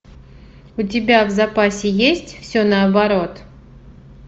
у тебя в запасе есть все наоборот